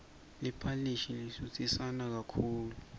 liphalishi lisutsisana kakhulu